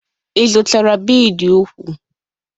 Ị zụtara bidi úkwù?